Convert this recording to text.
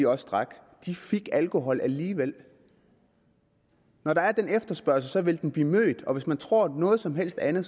også drak de fik alkohol alligevel når der er den efterspørgsel vil den blive mødt og hvis man tror noget som helst andet